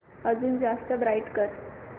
अजून जास्त ब्राईट कर